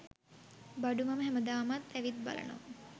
බඩු මම හැමදාමත් ඇවිත් බලනවා